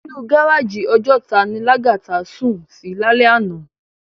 Inú gáráji Òjòtá ni Lagata sún si lálè àná